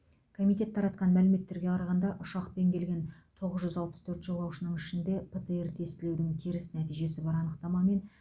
комитет таратқан мәліметтерге қарағанда ұшақпен келген тоғыз жүз алпыс төрт жолаушының ішінде птр тестілеудің теріс нәтижесі бар анықтамамен